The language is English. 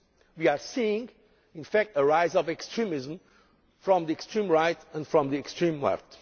We are seeing the rise of extremism from the extreme right and the extreme left.